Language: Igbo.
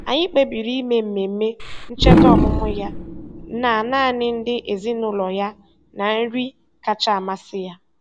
Anyị kpebiri ime mmemme ncheta ọmụmụ ya na naanị ndị ezinụụlọ ya na nri kacha amasị ya.